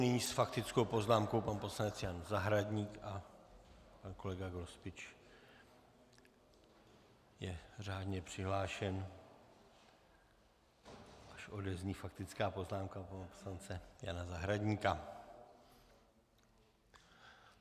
Nyní s faktickou poznámkou pan poslanec Jan Zahradník a pan kolega Grospič je řádně přihlášen, až odezní faktická poznámka pana poslance Jana Zahradníka.